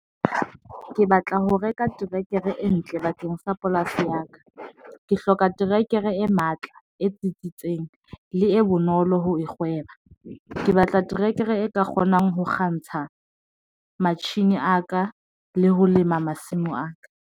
Ke batla ho reka terekere e ntle bakeng sa polasi ya ka. Ke hloka trekere e matla, e tsitsitseng le e bonolo ho kgwebo, ke batla terekere e ka kgonang ho kgantsha matjhini a ka le ho lema masimo a ka.